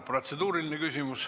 Protseduuriline küsimus.